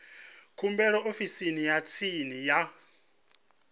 khumbelo ofisini ya tsini ya